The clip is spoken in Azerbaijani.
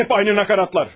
Hep aynı nakaratlar.